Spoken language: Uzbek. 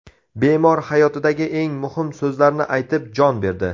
Bemor hayotidagi eng muhim so‘zlarni aytib, jon berdi.